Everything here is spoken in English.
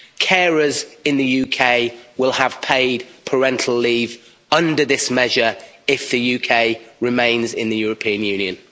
Carers in the UK will have paid parental leave under this measure if the UK remains in the European Union.